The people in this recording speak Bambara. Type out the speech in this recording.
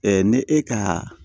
ne e ka